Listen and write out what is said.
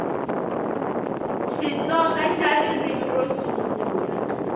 xitsonga xa ririmi ro sungula